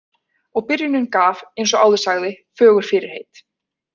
Og byrjunin gaf, eins og áður sagði, fögur fyrirheit.